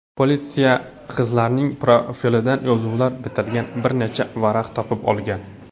Politsiya qizlarning portfelidan yozuvlar bitilgan bir necha varaq topgan.